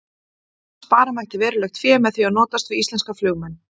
Spara mætti verulegt fé með því að notast við íslenska flugmenn.